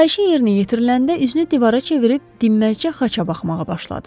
Xahişin yerinə yetiriləndə üzünü divara çevirib dinməzçə xaça baxmağa başladı.